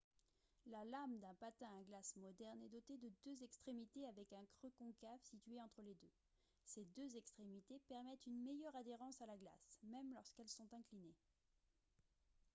la lame d'un patin à glace moderne est dotée de deux extrémités avec un creux concave situé entre les deux ces deux extrémités permettent une meilleure adhérence à la glace même lorsqu'elles sont inclinées